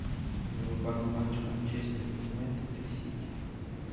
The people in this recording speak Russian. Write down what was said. врубай матч манчестер юнайтед и сити